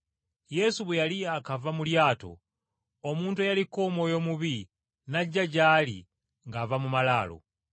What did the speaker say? Yesu bwe yali yaakava mu lyato omuntu eyaliko omwoyo omubi n’ajja gy’ali ng’ava mu malaalo.